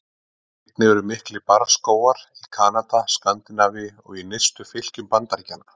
Einnig eru miklir barrskógar í Kanada, Skandinavíu og í nyrstu fylkjum Bandaríkjanna.